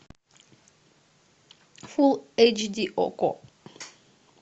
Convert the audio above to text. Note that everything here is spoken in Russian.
фул эйч ди окко